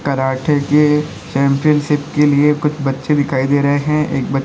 karate की championship के लिए कुछ बच्चे दिखाई दे रहे हैं एक ब--